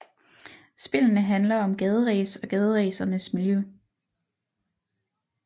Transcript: Spillene handler om gaderæs og gaderæsernes miljø